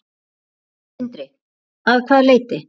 Sindri: Að hvaða leyti?